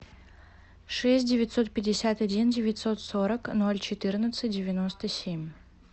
шесть девятьсот пятьдесят один девятьсот сорок ноль четырнадцать девяносто семь